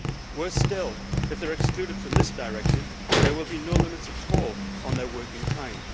Worse still, if they are excluded from this directive there will be no limits at all on their working time.